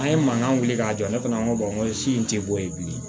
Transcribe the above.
An ye mankan wuli k'a jɔ ne fana ko sin ti bɔ yen bilen